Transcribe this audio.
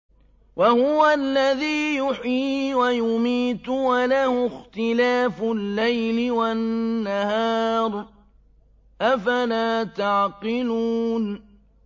وَهُوَ الَّذِي يُحْيِي وَيُمِيتُ وَلَهُ اخْتِلَافُ اللَّيْلِ وَالنَّهَارِ ۚ أَفَلَا تَعْقِلُونَ